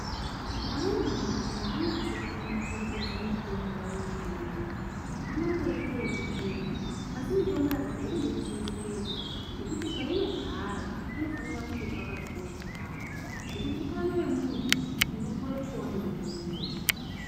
Amweni madhokodheya anasi kuchengetedza mitombo yavo yechiyungu anongoiite ekutsveta asi mitombo yakadai inode kuchengetedzwa nekuti painogara panofana kunge pakakosha yambo ngekuti utano wemuntu unoporeswawo ngemitombo iyoyi.